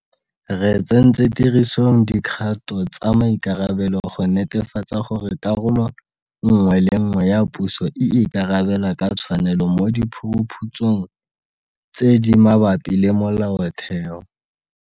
Re tsentse tirisong dikgato tsa maikarabelo go netefatsa gore karolo nngwe le nngwe ya puso e ikarabela ka tshwanelo mo diphuruphutsong tse di mabapi le molaotheo.